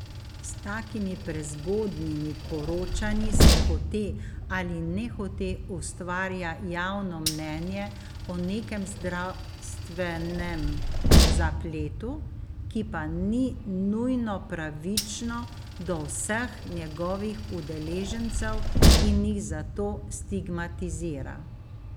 S takimi prezgodnjimi poročanji se hote ali nehote ustvarja javno mnenje o nekem zdravstvenem zapletu, ki pa ni nujno pravično do vseh njegovih udeležencev in jih zato stigmatizira.